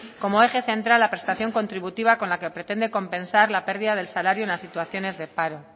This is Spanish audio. como eje central la prestación contributiva con la que pretende compensar las pérdidas del salario en las situaciones de paro